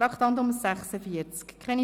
Wir kommen zum Traktandum 46: